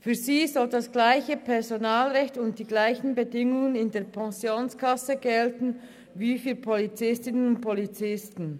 Für sie sollen dasselbe Personalrecht und dieselben Bestimmungen in den Pensionskassen gelten wie für Polizistinnen und Polizisten.